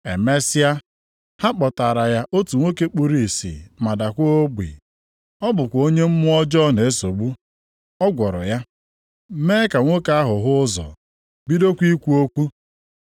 Emesịa, ha kpọtaara ya otu nwoke kpuru ìsì ma daakwa ogbi. Ọ bụkwa onye mmụọ ọjọọ na-esogbu. Ọ gwọrọ ya, mee ka nwoke ahụ hụ ụzọ, bidokwa ikwu okwu.